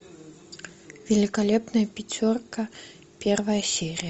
великолепная пятерка первая серия